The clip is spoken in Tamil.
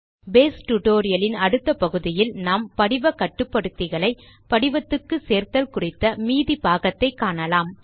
பேஸ் டியூட்டோரியல் இன் அடுத்த பகுதியில் நாம் படிவ கட்டுப்படுத்திகளை படிவத்துக்கு சேர்த்தல் குறித்த மீதி பாகத்தை காணலாம்